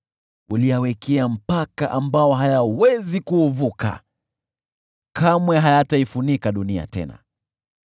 Uliyawekea mpaka ambao hayawezi kuuvuka, kamwe hayataifunika dunia tena.